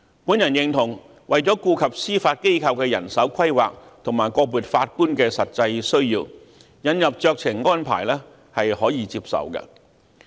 我認同為了顧及司法機構的人手規劃，以及個別法官的實際需要，引入酌情安排是可以接受的。